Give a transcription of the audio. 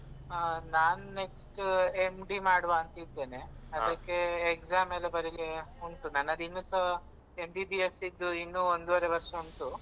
ಹ ನಾನು next MD ಮಾಡುವಾಂತ ಇದ್ದೇನೆ ಅದಕ್ಕೇ exam ಎಲ್ಲ ಬರಿಲಿಕ್ಕೆ ಉಂಟು ನನ್ನದು ಇನ್ನುಸ MBBS ಯಿದ್ದು ಇನ್ನೂ ಒಂದುವರೆ ವರ್ಷ ಉಂಟು.